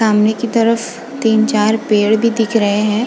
सामने की तरफ तीन चार पेड़ भी दिख रहे हैं।